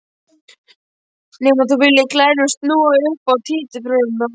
Nema þú viljir að gæjarnir snúi upp á títuprjónana!